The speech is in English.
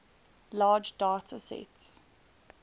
large data sets